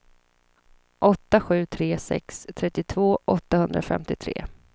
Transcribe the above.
åtta sju tre sex trettiotvå åttahundrafemtiotre